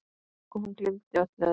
Og hún gleymdi öllu öðru.